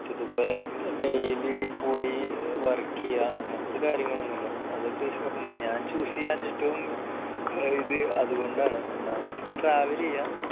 ഇതുപോലെ daily പോയി work ചെയ്യുക അങ്ങനത്തെ കാര്യങ്ങൾ ഒന്നുമില്ല അതൊക്കെ വെച്ച് നോക്കുമ്പോൾ ഞാൻ choose ചെയ്യാൻ ഏറ്റവും ഇത് അതുകൊണ്ടാണ് ഒന്നാമത് പിന്നെ travel ചെയ്യുക